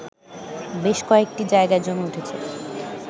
বেশ কয়েকটি জায়গায় জমে উঠেছে